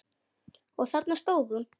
Og þarna stóð hún.